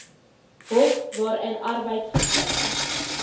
hof waarin arbeidsgeskille